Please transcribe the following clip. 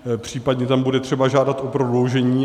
Případně tam bude třeba žádat o prodloužení.